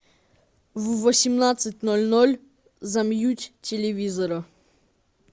в восемнадцать ноль ноль замьють телевизора